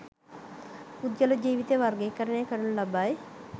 පුද්ගල ජීවිතය වර්ගීකරණය කරනු ලබයි.